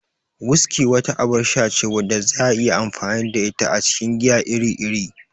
Whiskey wata abar sha ce wadda za'a iya amfani da ita a cikin giya iri-iri.